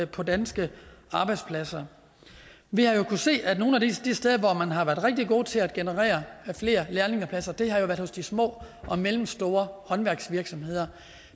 på danske arbejdspladser vi har jo kunnet se at nogle af de steder hvor man har været rigtig gode til at generere flere lærlingepladser har været hos de små og mellemstore håndværksvirksomheder